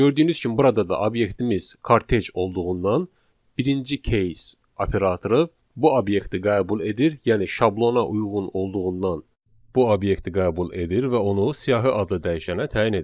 Gördüyünüz kimi burada da obyektimiz kortej olduğundan birinci case operatoru bu obyekti qəbul edir, yəni şablona uyğun olduğundan bu obyekti qəbul edir və onu siyahı adlı dəyişənə təyin edir.